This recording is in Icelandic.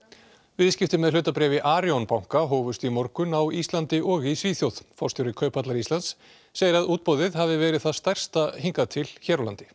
viðskipti með hlutabréf í Arion banka hófust í morgun á Íslandi og í Svíþjóð forstjóri Kauphallar Íslands segir að útboðið hafi verið það stærsta hingað til hér á landi